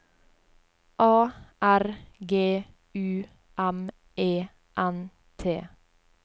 A R G U M E N T